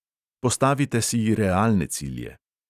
Postavite si realne cilje.